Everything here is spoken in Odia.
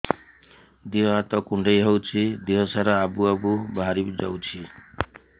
ଦିହ ହାତ କୁଣ୍ଡେଇ ହଉଛି ଦିହ ସାରା ଆବୁ ଆବୁ ବାହାରି ଯାଉଛି